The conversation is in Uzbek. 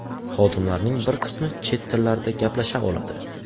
Xodimlarning bir qismi chet tillarida gaplasha oladi.